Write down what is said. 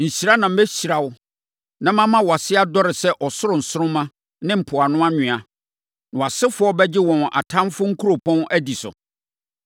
hyira na mɛhyira wo na mama wʼase adɔre sɛ ɔsoro nsoromma ne mpoano anwea. Na wʼasefoɔ bɛgye wɔn atamfoɔ nkuropɔn adi so.